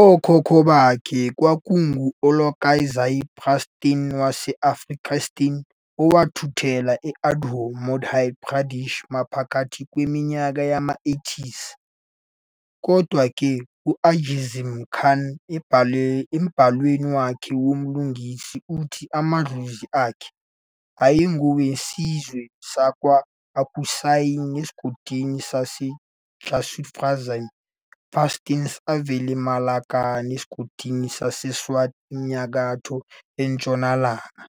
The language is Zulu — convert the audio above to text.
Okhokho bakhe kwakungu-Alakozai Pastuns wase-Afghanistan owathuthela e-Indore, eMadhya Pradesh maphakathi kweminyaka yo-1800s, Kodwa-ke, uJasim Khan embhalweni wakhe womlingisi uthi amadlozi akhe ayengowesizwe sakwa-Akuzai esigodini saseJusufzai Pashtuns avela eMalakand esigodini saseSwat eNyakatho Ntshonalanga